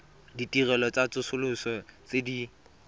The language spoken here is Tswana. ditirelo tsa tsosoloso tse di